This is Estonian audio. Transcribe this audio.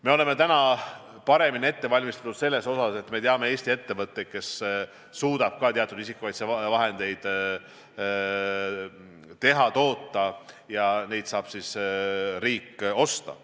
Me oleme täna paremini ette valmistatud selles osas, et me teame Eesti ettevõtteid, kes suudavad isikukaitsevahendeid toota, ja neid saab riik osta.